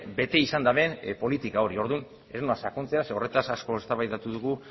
bete izan duten politika hori orduan ez noa sakontzera zeren horretaz asko eztabaidatu dugu